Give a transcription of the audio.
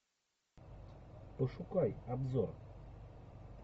пошукай обзор